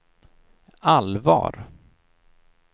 allvar